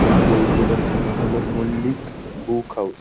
এই বইয়ের দোকানটির নাম হলো মল্লিক বুক হাউস ।